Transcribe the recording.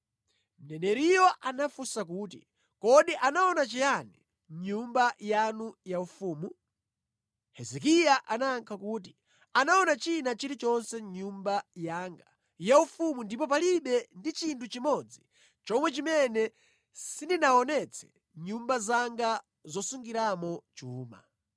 Mneneriyo anafunsa kuti, “Kodi anaona chiyani mʼnyumba yanu yaufumu?” Hezekiya anayankha kuti, “Anaona china chilichonse mʼnyumba yanga yaufumu ndipo palibe ndi chinthu chimodzi chomwe chimene sindinawaonetse mʼnyumba zanga zosungiramo chuma.”